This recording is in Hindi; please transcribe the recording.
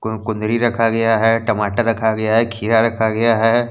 कुंदरी रखा गया है टमाटर रखा गया है खीरा रखा गया है।